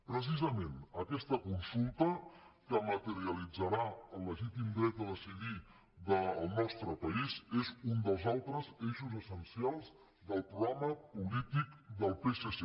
precisament aquesta consulta que materialitzarà el legítim dret a decidir del nostre país és un dels altres eixos essencials del programa polític del psc